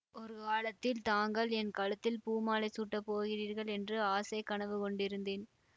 ஒரு காலத்தில் தாங்கள் என் கழுத்தில் பூமாலை சூட்டப் போகிறீர்கள் என்று ஆசைக் கனவு கொண்டிருந்தேன்